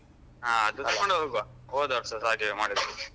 ಹಾ ಅದು ತಗೊಂಡ್ ಹೋಗುವ ಹೋದವರ್ಷಸ ಹಾಗೆವೆ ಮಾಡಿದ್ದಲ್ಲ.